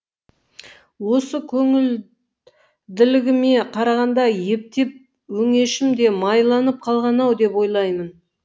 осы көңілділігіме қарағанда ептеп өңешім де майланып қалған ау деп ойлаймын